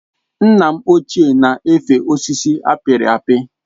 Nna m ochié na efe osisi apiri apị